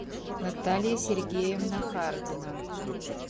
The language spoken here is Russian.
наталья сергеевна хардина